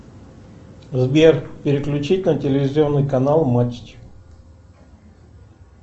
сбер переключить на телевизионный канал матч